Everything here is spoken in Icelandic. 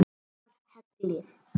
Stærðar hellir?